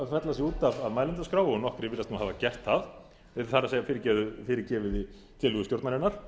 fella sig út af mælendaskrá og nokkrir virðast hafa gert það það er fyrirgefið þið tillögu stjórnarinnar